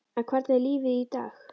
En hvernig er lífið í dag?